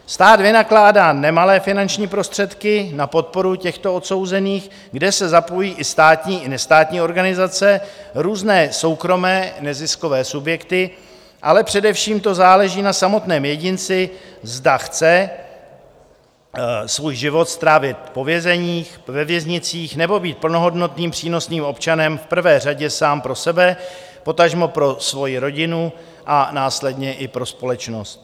Stát vynakládá nemalé finanční prostředky na podporu těchto odsouzených, kde se zapojí i státní i nestátní organizace, různé soukromé neziskové subjekty, ale především to záleží na samotném jedinci, zda chce svůj život strávit po vězeních, ve věznicích, nebo být plnohodnotným, přínosným občanem v prvé řadě sám pro sebe, potažmo pro svoji rodinu a následně i pro společnost.